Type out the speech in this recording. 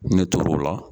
Ne tor'o la